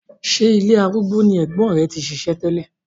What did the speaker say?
Ṣé ilé arúgbó ni ẹ̀gbọ́n rẹ ti ń ṣiṣẹ́ tẹ́lẹ̀?